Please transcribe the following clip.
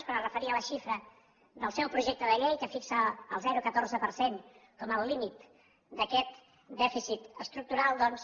quan es referia a la xifra del seu projecte de llei que fixa el zero coma catorze per cent com el límit d’aquest dèficit estructural doncs